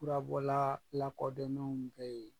Furabɔla lakɔdɔnnenw bɛ yen.